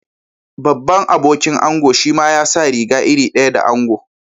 Babban abokin ango shima ya sa riga iri daya da ango.